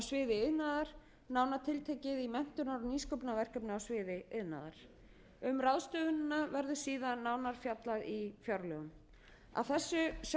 iðnaðar nánar tiltekið í menntunar og nýsköpunarverkefni á sviði iðnaðar um ráðstöfunina verður síðan nánar fjallað í fjárlögum að þessu sögðu mælist ég til þess að